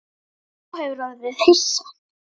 Sá hefur orðið hissa